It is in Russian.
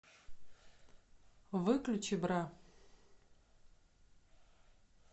выключи бра